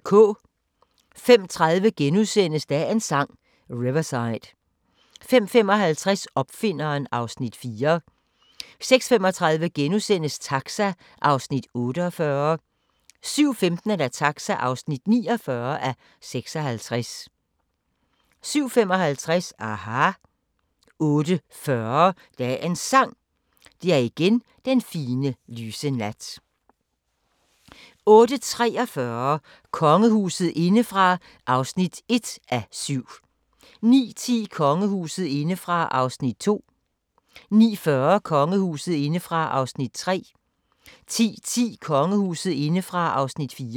05:30: Dagens Sang: Riverside * 05:55: Opfinderen (Afs. 4) 06:35: Taxa (48:56)* 07:15: Taxa (49:56) 07:55: aHA! 08:40: Dagens Sang: Det er igen den fine, lyse nat 08:43: Kongehuset indefra (1:7) 09:10: Kongehuset indefra (2:7) 09:40: Kongehuset indefra (3:7) 10:10: Kongehuset indefra (4:7)